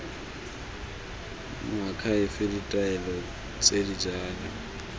moakhaefe ditaelo tse di jalo